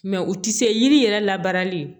Mɛ u tɛ se yiri yɛrɛ labarali ye